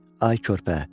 Ay körpə.